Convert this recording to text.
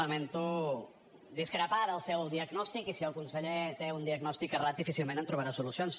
lamento discrepar del seu diagnòstic i si el conseller té un diagnòstic errat difícilment hi trobarà solucions